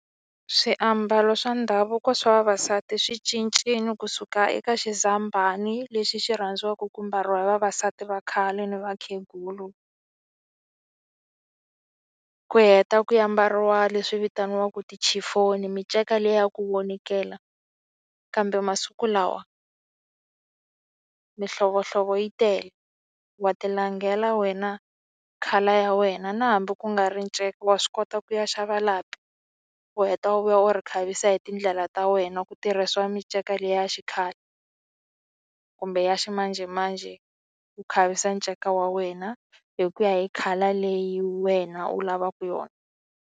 Swiambalo swa ndhavuko swa vavasati swi cincile kusuka eka xizambhani lexi xi rhandziwaka ku mbariwa hi vavasati va khale ni vakhegulu ku heta ku ya mbariwa leswi vitaniwaka miceka leyi ya ku vonikela kambe masiku lawa mihlovohlovo yi tele wa tilangela wena colour ya wena na hambi ku nga ri nceka wa swi kota ku ya xava lapi u heta u vuya u ri khavisa hi tindlela ta wena ku tirhisiwa minceka leyi ya xikhale kumbe ya ximanjhemanjhe u khavisa nceka wa wena hi ku ya hi colour leyi wena u lavaka yona.